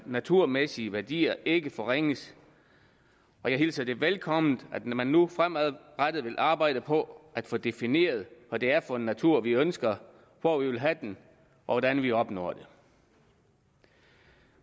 naturmæssige værdier ikke forringes og jeg hilser det velkomment at man nu fremadrettet vil arbejde på at få defineret hvad det er for en natur vi ønsker hvor vi vil have den og hvordan vi opnår det